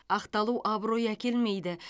ақталу абырой әкелмейді